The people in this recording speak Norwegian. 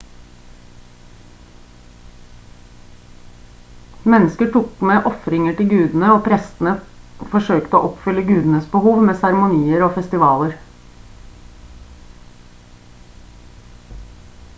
mennesker tok med ofringer til gudene og prestene forsøkte å oppfylle gudenes behov med seremonier og festivaler